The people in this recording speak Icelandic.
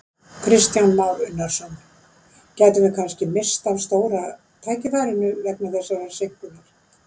Kristján Már Unnarsson: Gætum við kannski misst af stóra tækifærinu vegna þessarar seinkunar?